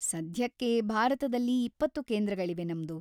ಸದ್ಯಕ್ಕೆ ಭಾರತದಲ್ಲಿ ಇಪ್ಪತ್ತು ಕೇಂದ್ರಗಳಿವೆ ನಮ್ದು.